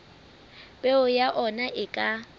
peo ya ona e ka